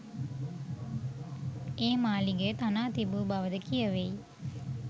ඒ මාලිගය තනා තිබූ බවද කියැවෙයි.